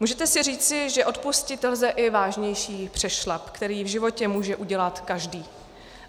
Můžete si říci, že odpustit lze i vážnější přešlap, který v životě může udělat každý.